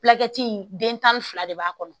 den tan ni fila de b'a kɔnɔ